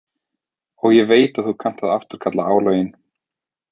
Og ég veit að þú kannt að afturkalla álögin.